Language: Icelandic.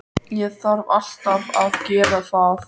Ég þarf alltaf að gera það.